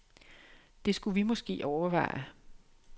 Det skulle vi måske overveje.